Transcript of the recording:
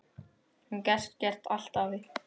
Þú gast gert allt, afi.